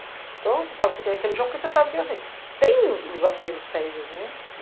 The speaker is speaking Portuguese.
Então, você sabe que tem aquele lixão porque você sabe que, assim, tem os aterros sérios, né?